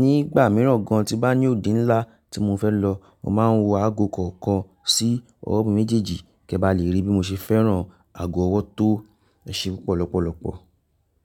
Nígbà mìíràn gan an tí bá ní òde ńlá tí mo fẹ́ lọ, màá wọ aago kọ̀ọ̀kan sí ọwọ́ méjèèjì. Kẹ́ bá lè rí bí mo ṣe fẹ́ràn aago ọwọ́ tó ese pọ̀ lọ́pọ̀lọpọ̀.